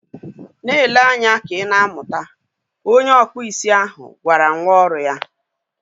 Na-ele anya ka ị na amụta! Onye ọkpụ isi ahụ gwara nwa ọrụ ya